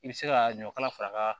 I bɛ se ka ɲɔ kala fara